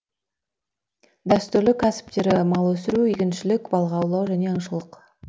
дәстүрлі кәсіптері мал өсіру егіншілік балық аулау және аңшылық